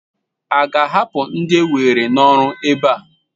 A ga-ahapụ ndia ewere n'ọrụ ebe a?